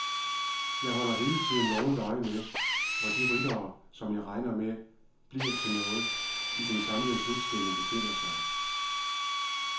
Jeg holder hele tiden vågent øje med, hvor de ryttere, som jeg regner med bliver noget i den samlede slutstilling, befinder sig.